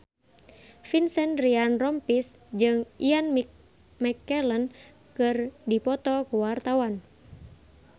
Vincent Ryan Rompies jeung Ian McKellen keur dipoto ku wartawan